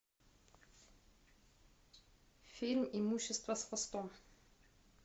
фильм имущество с хвостом